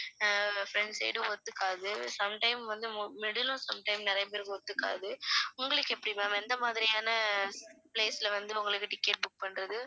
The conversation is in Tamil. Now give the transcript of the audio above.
அஹ் front side ம் ஒத்துக்காது some time வந்து mu~ middle ம் some time நிறைய பேருக்கு ஒத்துக்காது உங்களுக்கு எப்படி ma'am எந்த மாதிரியான place ல வந்து உங்களுக்கு ticket book பண்றது